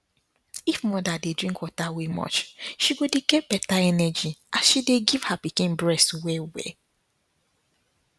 if mother dey drink water wey much she go dey get better energy as she dey give her pikin breast well well